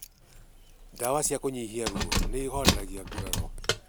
Ndawa cia kũnyihia ruo nĩihoreragoa nguraro